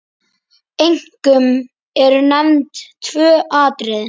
Einkum eru nefnd tvö atriði.